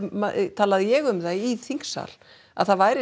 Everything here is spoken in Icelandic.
talaði ég um það í þingsal að það væri